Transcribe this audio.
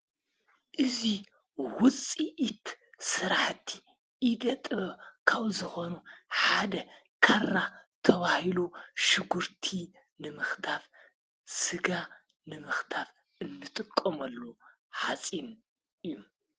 እዚ ዉፅኢት ስራሕት ኢደ ጥብብ ካብ ዝኮኑ ሓደ ካራ ተባሂሉ ሽጉርቲ ንምክታፍ፣ ስጋ ንመክታፍ እንጥቀመሉ ሓፂን እዩ፡፡